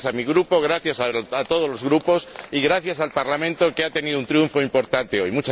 Gracias a mi grupo, gracias a todos los grupos y gracias al Parlamento, que ha tenido un triunfo importante hoy.